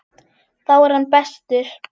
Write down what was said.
Þá er hann bestur.